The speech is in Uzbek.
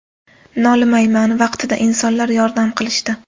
Nolimayman, vaqtida insonlar yordam qilishdi.